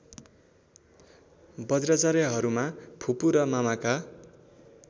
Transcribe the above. बज्राचार्यहरूमा फुपू र मामाका